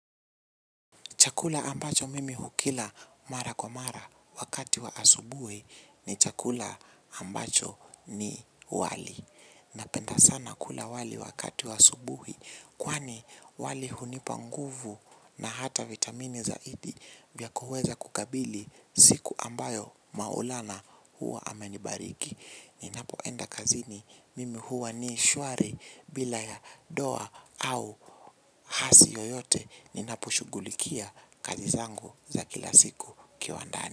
Chakula ambacho mimi hukila mara kwa mara wakati wa asubuhi ni chakula ambacho ni wali. Napenda sana kula wali wakati wa asubuhi kwani wali hunipanguvu na hata vitamini zaidi vya kuweza kukabili siku ambayo maulana huwa amenibariki. Ninapoenda kazi ni mimi huwa ni shwari bila ya doa au hasi yoyote. Ninapo shughulikia kazi zangu za kila siku kiwandaani.